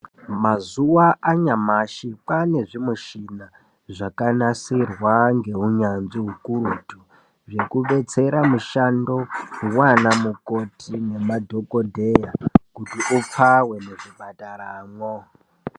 Mazuva anyamashi kwane zvi mushina zvaka nasirwa nge unyanzvi ukurutu zveku detsera mishando hwana mukoti nema dhokodheya kuti upfawe neku dakaramwo.